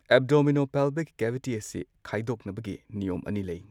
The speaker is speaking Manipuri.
ꯑꯦꯕꯗꯣꯃꯤꯅꯣꯄꯦꯜꯚꯤꯛ ꯀꯦꯚꯤꯇꯤ ꯑꯁꯤ ꯈꯥꯢꯗꯣꯛꯅꯕꯒꯤ ꯅꯤꯌꯝ ꯑꯅꯤ ꯂꯩ꯫